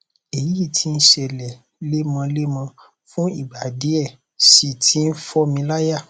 èyí tí ń ṣẹlẹ lemọlemọ fún ìgbà díẹ sì ti ń fò mí láyà